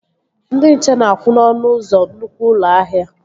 Ndị nche na-akwụ n'ọnụ ụzọ nnukwu ụlọ ahịa